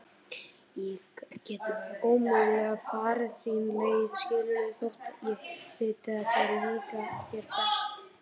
Ég get ómögulega farið þína leið skilurðu þótt ég viti að það líki þér best.